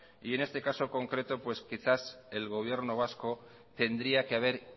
y en este caso concreto quizás el gobierno vasco tendría que haber